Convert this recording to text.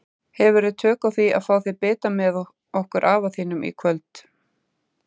Hefurðu nokkur tök á því að fá þér bita með okkur afa þínum í kvöld?